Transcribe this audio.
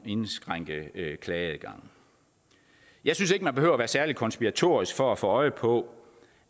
indskrænke klageadgangen jeg synes ikke man behøver være særlig konspiratorisk for at få øje på